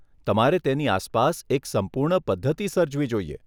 તમારે તેની આસપાસ એક સંપૂર્ણ પધ્ધતિ સર્જવી જોઈએ.